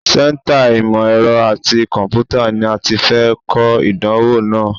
Sẹ́ńtà ìmọ̀ ẹ̀rọ àti kọ̀m̀pútà ni a ti fẹ́ kọ ìdánwò náà.